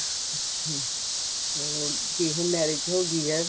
ਅੱਛਾ ਚਲੋ ਹੁਣ ਤੇ marriage ਹੋ ਗਈ ਹੈ